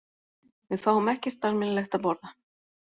Við fáum ekkert almennilegt að borða